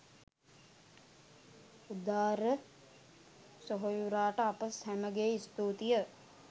උදාර සොහොයුරාට අප සැමගේ ස්තූතිය